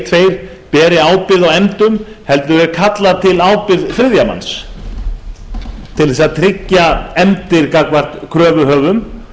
tveir beri ábyrgð á efndum heldur er kölluð til ábyrgð þriðja manns til þess að tryggja efndir gagnvart kröfuhöfum